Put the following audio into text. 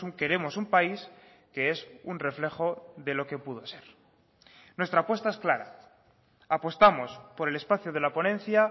queremos un país que es un reflejo de lo que pudo ser nuestra apuesta es clara apostamos por el espacio de la ponencia